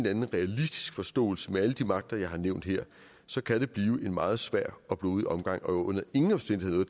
anden realistisk forståelse med alle de magter jeg har nævnt her så kan blive en meget svær og blodig omgang og under ingen omstændigheder